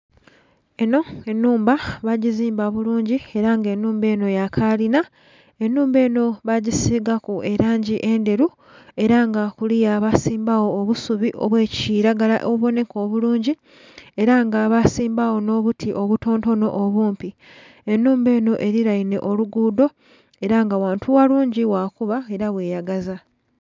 Enho enhumba bagizimba bulungi ela nga ennhumba enho ya kalina ennhumba enho baagisigaku elangi endheru ela nga kuliya baasimbagho obusubi obwa kilagala obubonheka obulungi ela nga basimbagho obuti obutontono obumpi, ennhumba enho eriainhe oluguudo ela nga ghantu ghalungi ghakuba ela ghe yagaza.